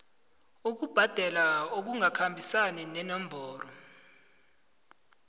ukubhadela okungakhambisani nenomboro